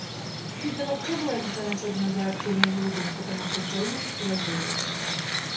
фидо вообще была изначально создана для общения голубых потому что дженнингс была геем